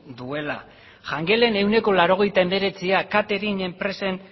duela da jangelen ehuneko laurogeita hemeretziak katering